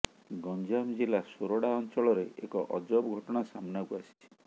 ଗଂଜାମ ଜିଲ୍ଲା ସୋରଡା ଅଂଚଳରେ ଏକ ଅଜବ ଘଟଣା ସାମ୍ନାକୁ ଆସିଛି